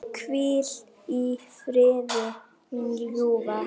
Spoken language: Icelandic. Hvíl í friði, mín ljúfa.